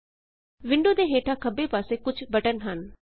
window ਦੇ ਹੇਠਾਂ ਖੱਬੇ ਪਾਸੇ ਕੁਝ ਬਟਨ ਹਨ